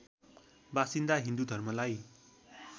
बसिन्दा हिन्दु धर्मलाई